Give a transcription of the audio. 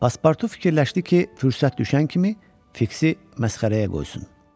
Paspartu fikirləşdi ki, fürsət düşən kimi Fiksi məsxərəyə qoysun.